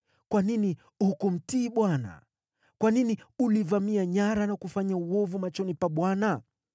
Kwa nini hukumtii Bwana ? Kwa nini ulivamia nyara na kufanya uovu machoni pa Bwana ?”